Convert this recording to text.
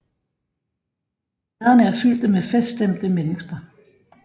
Gaderne er fyldte med feststemte mennesker